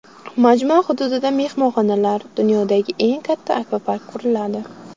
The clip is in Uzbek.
Majmua hududida mehmonxonalar, dunyodagi eng katta akvapark quriladi.